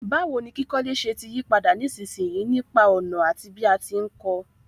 Báwoni kíkọ́lé se ti yípadà nísinsìyí nípa ònà àti bí a ti n ko